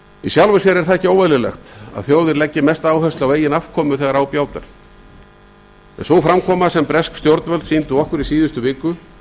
í sjálfu sér er ekki óeðlilegt að þjóðir leggi mesta áherslu á eigin afkomu þegar á bjátar sú framkoma sem bresk stjórnvöld sýndu okkur í síðustu viku